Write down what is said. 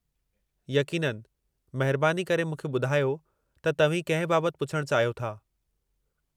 यक़ीननि, महिरबानी करे मूंखे ॿुधायो त तव्हीं कंहिं बाबति पुछण चाहियो था?